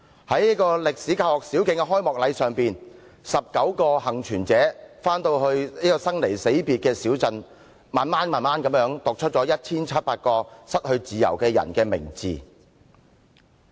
在該歷史教學小徑的開幕禮上 ，19 個幸存者回到他們生離死別的小鎮，一一讀出 1,700 個失去自由的人的名字。